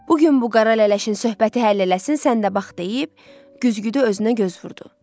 Bu gün bu qara lələşin söhbəti həll eləsin sən də bax deyib, güzgüdə özünə göz vurdu.